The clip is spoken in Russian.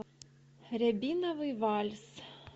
рябиновый вальс